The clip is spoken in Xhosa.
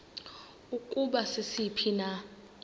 ukuba sisiphi na